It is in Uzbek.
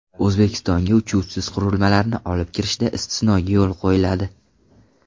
O‘zbekistonga uchuvchisiz qurilmalarni olib kirishda istisnoga yo‘l qo‘yiladi.